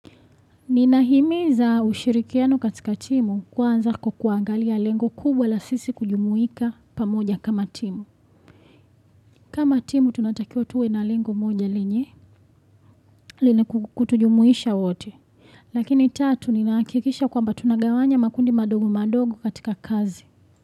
Nina himiza ushirikiano katika timu kwanza kwa kuangalia lengo kubwa la sisi kujumuika pamoja kama timu. Kama timu tunatakiwa tuwe na lengo moja lenye lina kutujumuisha wote. Lakini tatu ninahakikisha kwa mba tunagawanya makundi madogo madogo katika kazi.